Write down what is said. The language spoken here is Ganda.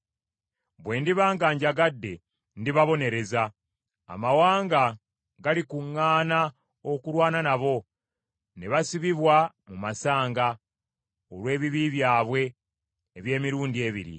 Bwe ndiba nga njagadde, ndibabonereza; amawanga galikuŋŋaana okulwana nabo, ne basibibwa mu masanga olw’ebibi byabwe eby’emirundi ebiri.